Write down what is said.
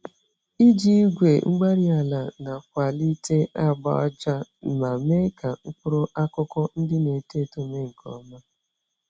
Iji igwe-mgbárí-ala nakwalite agba-ájá, ma mee ka mkpụrụ akụkụ ndị N'eto eto mee nkè ọma